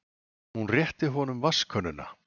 Hún rétti honum vatnskönnuna.